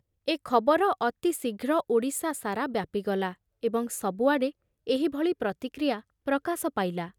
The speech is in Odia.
ଏ ଖବର ଅତିଶୀଘ୍ର ଓଡ଼ିଶା ସାରା ବ୍ୟାପିଗଲା ଏବଂ ସବୁଆଡ଼େ ଏହିଭଳି ପ୍ରତିକ୍ରିୟା ପ୍ରକାଶ ପାଇଲା।